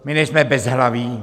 My nejsme bezhlaví.